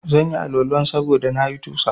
Zanyi Wani Al- walan sabuda na yi tusa